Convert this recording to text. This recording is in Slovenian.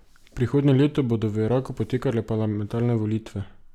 Prihodnje leto bodo v Iraku potekale parlamentarne volitve.